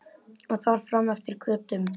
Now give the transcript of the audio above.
Og þar fram eftir götum.